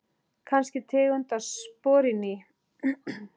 Kannski tegund af spori ný.